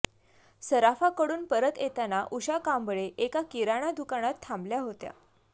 सराफाकडून परत येताना उषा कांबळे एका किराणा दुकानात थांबल्या होत्या